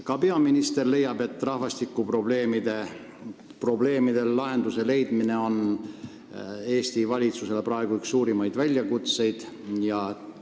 Ka peaminister leiab, et rahvastikuprobleemidele lahenduse leidmine on praegu Eesti valitsusele üks suurimaid väljakutseid.